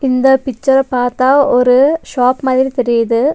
இந்த பிக்சர்ர பாத்தா ஒரு ஷாப் மாதிரி தெரியுது.